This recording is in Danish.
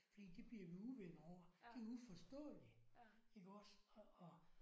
Fordi det bliver vi uvenner over det er uforståeligt iggås og og